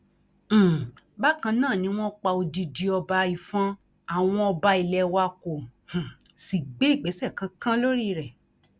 um bákan náà ni wọn pa odidi ọba ìfọn àwọn ọba ilé wa kó um sì gbé ìgbésẹ kankan lórí rẹ